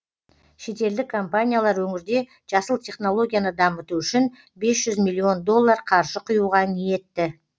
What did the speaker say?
шетелдік компаниялар өңірде жасыл технологияны дамыту үшін бес жүз миллион доллар қаржы құюға ниетті